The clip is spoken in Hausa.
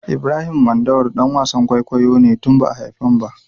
Ibrahim Mandawari ɗan wasan kwaikwayo ne tun ba'a haifen ba.